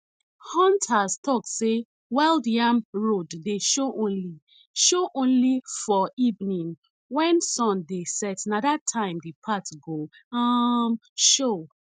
hunters talk say wild yam road dey show only show only for evening when sun dey set na that time the path go um show